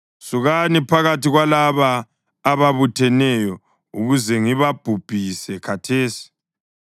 “Sukani phakathi kwalaba ababutheneyo ukuze ngibabhubhise khathesi.”